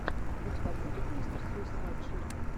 у тебя будет мистер суисайд шип